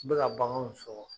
U be ka baganw sɔkɔ